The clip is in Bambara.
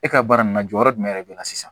E ka baara nin na jɔyɔrɔ jumɛn de bɛ na sisan